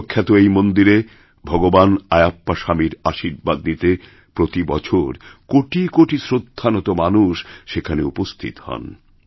বিশ্বখ্যাত এই মন্দিরে ভগবান আয়াপ্পাস্বামীর আশীর্বাদনিতে প্রতি বছর কোটি কোটি শ্রদ্ধানত মানুষ সেখানে উপস্থিত হন